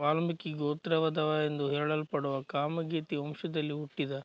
ವಾಲ್ಮೀಕಿ ಗೋತ್ರವದವರೆಂದು ಹೆಳಲ್ಪಡುವ ಕಾಮಗೇತಿ ವಂಶದಲ್ಲಿ ಹುಟ್ಟಿದ